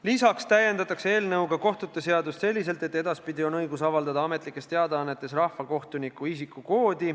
Lisaks täiendatakse eelnõu kohaselt kohtute seadust selliselt, et edaspidi on õigus avaldada ametlikes teadaannetes rahvakohtuniku isikukood.